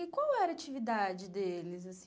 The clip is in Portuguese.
E qual era a atividade deles, assim?